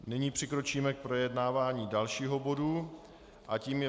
Nyní přikročíme k projednávání dalšího bodu a tím je